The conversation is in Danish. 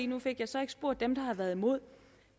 nu fik jeg så ikke spurgt dem der har været imod